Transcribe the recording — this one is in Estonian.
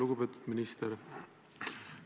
Lugupeetud minister!